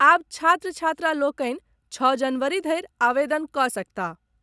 आब छात्र छात्रा लोकनि छओ जनवरी धरि आवेदन कऽ सकताह।